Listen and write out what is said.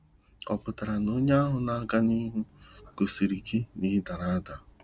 Ọ pụtara na onye ahụ na aga n'ihu gosiri gị na ị dara ada?